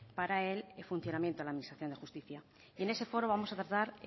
para el funcionamiento de la administración de justicia y en ese foro vamos a tratar